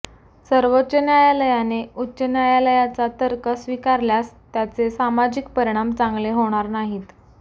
सर्वोच्च न्यायालयाने उच्च न्यायालयाचा तर्क स्वीकारल्यास त्याचे सामाजिक परिणाम चांगले होणार नाहीत